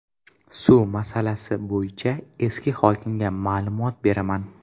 Suv masalasi bo‘yicha esa hokimga ma’lumot beraman.